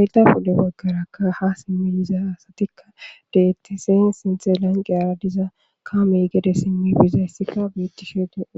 elda pude maggarakka ha simmiyiza asatikka dettisen sinthe lanqeyara diza kaamey gede simmi bizayssikka biettishe deeo